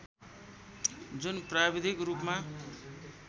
जुन प्राविधिक रूपमा